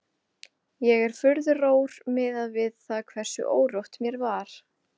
Ég var furðu rór miðað við það hversu órótt mér var.